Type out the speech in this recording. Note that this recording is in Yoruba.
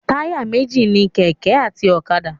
Táyà méjì ni kẹ̀kẹ́ àti ọ̀kadà.